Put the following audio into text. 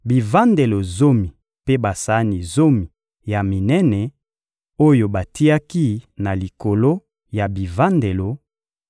bivandelo zomi mpe basani zomi ya minene, oyo batiaki na likolo ya bivandelo,